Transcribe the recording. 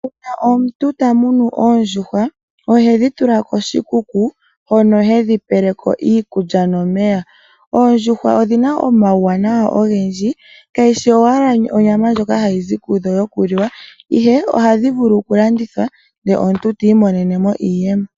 Uuna omuntu ta munu oondjuhwa ohedhi tula koshikuku hono hedhi peleko iikulya nomeya. Oondjuhwa odhina omauwanawa ogendji kayishi owala onyama ndjoka hayi zi kudho yokuliwa ihe ohadhi vulu okulandithwa ndele omuntu eti imonene mo iiyemo.